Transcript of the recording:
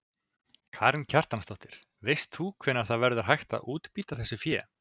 Karen Kjartansdóttir: Veist þú hvenær það verður hægt að útbýta þessu fé?